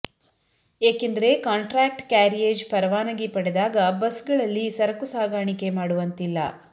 ಏಕೆಂದರೆ contract carriage ಪರವಾನಗಿ ಪಡೆದಾಗ ಬಸ್ಗಳಲ್ಲಿ ಸರಕು ಸಾಗಾಣಿಕೆ ಮಾಡುವಂತಿಲ್ಲ